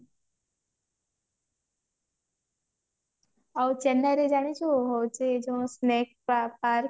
ଆଉ ଚେନ୍ନାଇ ରେ ଜାଣିଛୁ ହଉଛି ଯୋଉ snake ପା park